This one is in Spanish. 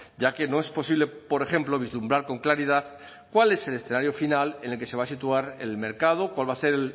ya que no es posible por ejemplo vislumbrar con claridad cuál es el escenario final en el que se va a situar el mercado cuál va a ser